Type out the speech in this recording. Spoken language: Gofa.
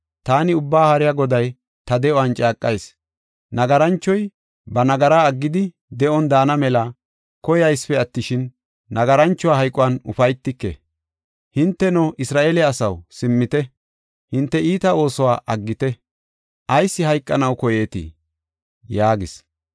Taani Ubbaa Haariya Goday ta de7uwan caaqayis: “Nagaranchoy ba nagaraa aggidi, de7on daana mela koyaysipe attishin, nagaranchuwa hayquwan ufaytike. Hinteno, Isra7eele asaw, simmite; hinte iita oosuwa aggite! Ayis hayqanaw koyeetii?” yaagis.